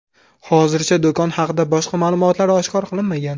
Hozircha, do‘kon haqida boshqa ma’lumotlar oshkor qilinmagan.